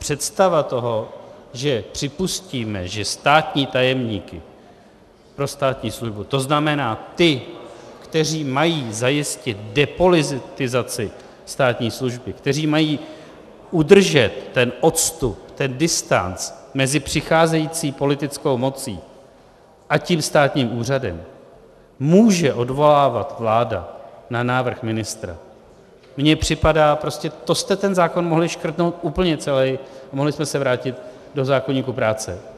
Představa toho, že připustíme, že státní tajemníky pro státní službu, to znamená ty, kteří mají zajistit depolitizaci státní služby, kteří mají udržet ten odstup, ten distanc mezi přicházející politickou mocí a tím státním úřadem, může odvolávat vláda na návrh ministra, mně připadá - prostě to jste ten zákon mohli škrtnout úplně celý a mohli jsme se vrátit do zákoníku práce.